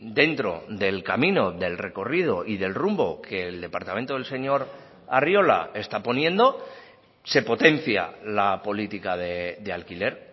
dentro del camino del recorrido y del rumbo que el departamento del señor arriola está poniendo se potencia la política de alquiler